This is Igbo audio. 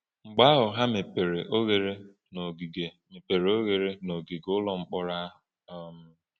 Mgbe ahụ ha mepere oghere n’ogige mepere oghere n’ogige ụlọ mkpọrọ ahụ. um